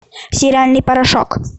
стиральный порошок